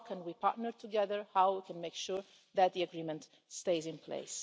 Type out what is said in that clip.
How can we partner together and make sure that the agreement stays in place.